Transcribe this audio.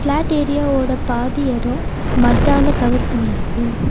Flat area ஒட பாதி எடோ மட்டால கவர் பண்ணிருக்கு.